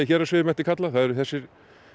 héraðsvegi mætti kalla það eru þessir